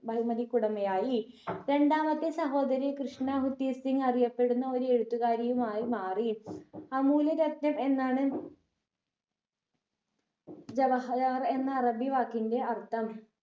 ബഹുമതിക്കുടമയായി രണ്ടാമത്തെ സഹോദരി കൃഷ്ണ ഹുത്തീസിങ് അറിയപ്പെടുന്ന ഒരു എഴുത്തുകാരിയുമായി മാറി അമൂല്യ രത്‌നം എന്നാണ് ജവഹർ എന്ന അറബി വാക്കിന്റെ അർഥം